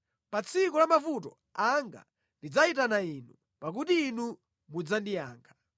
Pa tsiku la mavuto anga ndidzayitana Inu, pakuti Inu mudzandiyankha.